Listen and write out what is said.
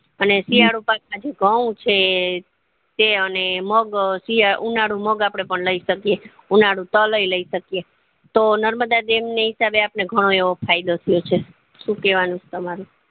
અને શિયાળુ પાક આજે ઘઉં છે છે અને મગ ધીયાલું ઉનાળુ મગ આપડે લય શકીએ ઉનાળુ તલ અય લઇ શકીએ તો નર્મદા દમ ની હિસાબે આપડે ઘણો એવો ફાયદો થાય છે શું કેવાનું છે તમારું